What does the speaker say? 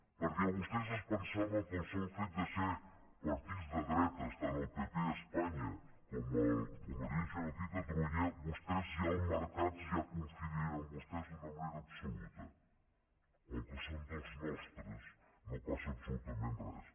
perquè vostès es pensaven que pel sol fet de ser partits de dretes tant el pp a espanya com convergència i unió aquí a catalunya els mercats ja confiarien en vostès d’una manera absoluta com que són dels nostres no passa absolutament res